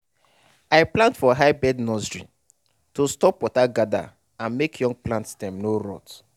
i plant for high bed nursery to stop water gather and make young plant stem no rot.